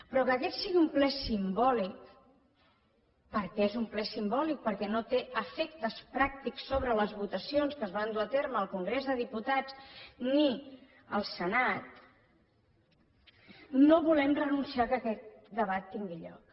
però perquè aquest sigui un ple simbòlic perquè és un ple simbòlic perquè no té efectes pràctics sobre les votacions que es van dur a terme al congrés dels diputats ni al senat no volem renunciar al fet que aquest debat tingui lloc